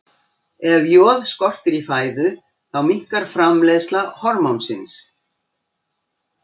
Ef joð skortir í fæðu þá minnkar framleiðsla hormónsins.